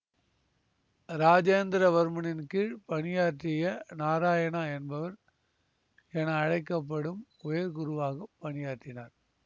ராஜேந்திரவர்மனின் கீழ் பணியாற்றிய நாராயணா என்பவர் என அழைக்க படும் உயர் குருவாக பணியாற்றினார்